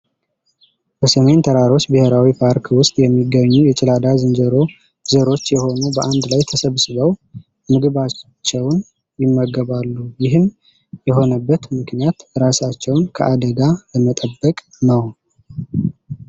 በሰሜን ተራሮች ብሔራዊ ፓርክ ውስጥ የሚገኙ የጭላዳ ዝንጀሮ ዘሮች የሆኑ በአንድ ላይ ተሰብስበው ምግባቸውን ድመገባሉ ይህም የሆነበት ምክንያት ራሳቸውን ከአደጋ ለመጠበቅ ነው ።